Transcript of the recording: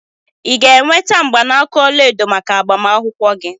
Ị ga-enweta mgbanaka ọla edo maka agbamakwụkwọ gị?